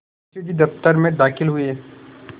मुंशी जी दफ्तर में दाखिल हुए